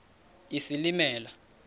isilimela